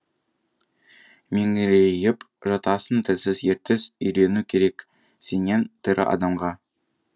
меңірейіп жатасың тілсіз ертіс үйрену керек сенен тірі адамға